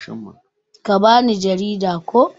Ka ba ni jarida, ko?